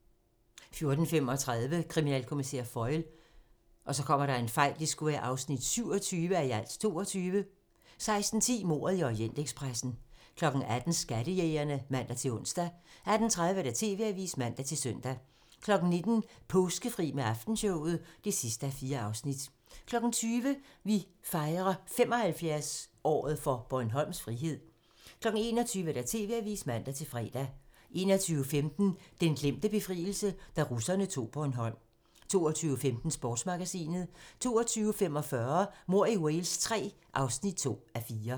14:35: Kriminalkommissær Foyle (27:22) 16:10: Mordet i Orientekspressen 18:00: Skattejægerne (man-ons) 18:30: TV-avisen (man-søn) 19:00: Påskefri med Aftenshowet (4:4) 20:00: Vi fejrer 75-året for Bornholms frihed 21:00: TV-avisen (man-fre) 21:15: Den glemte befrielse - Da russerne tog Bornholm 22:15: Sportsmagasinet 22:45: Mord i Wales III (2:4)